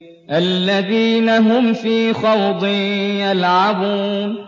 الَّذِينَ هُمْ فِي خَوْضٍ يَلْعَبُونَ